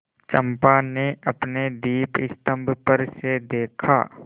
चंपा ने अपने दीपस्तंभ पर से देखा